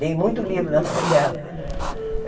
Dei muito livro na mão dela.